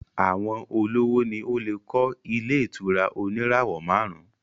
Àwọn olówó ni ó lè kọ́ ilé ìtura oníràwọ̀ márùn-ún